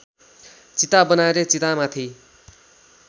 चिता बनाएर चितामाथि